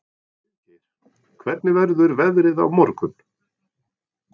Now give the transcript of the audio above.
Friðgeir, hvernig verður veðrið á morgun?